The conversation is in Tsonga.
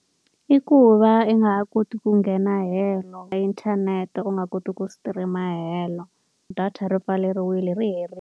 I ku va i nga ha koti ku nghena helo inthanete u nga koti ku stream-a helo. Data ri pfaleriwile, ri herile.